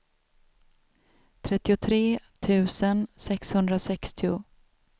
trettiotre tusen sexhundrasextio